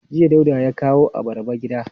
Jiya Dauda ya kawo abarba gida.